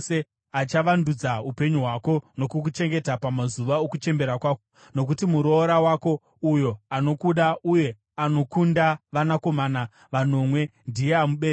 Achavandudza upenyu hwako nokukuchengeta pamazuva okuchembera kwako. Nokuti muroora wako, uyo anokuda uye anokunda vanakomana vanomwe, ndiye amubereka.”